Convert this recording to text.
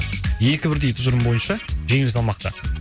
екі бірдей тұжырым бойынша жеңіл салмақта